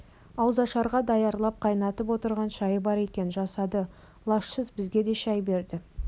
ауызашарға даярлап қайнатып отырған шайы бар екен жасады лажсыз бізге де шай берді